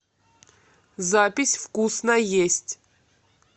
запись вкусно есть